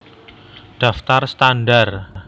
Daftar standar